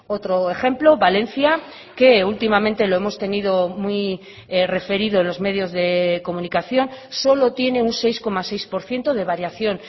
otro ejemplo valencia que últimamente lo hemos tenido muy referido en los medios de comunicación solo tiene un seis coma seis por ciento de variación